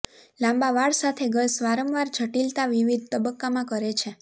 લાંબા વાળ સાથે ગર્લ્સ વારંવાર જટિલતા વિવિધ તબક્કામાં કરે છે